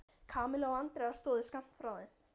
Kamilla og Andrea stóðu skammt frá þeim.